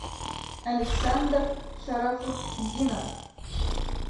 александр шарафутдинов